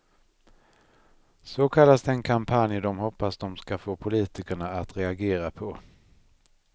Så kallas den kampanj de hoppas de ska få politikerna att reagera på.